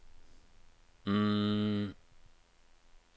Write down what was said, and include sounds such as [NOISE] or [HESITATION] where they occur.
[HESITATION]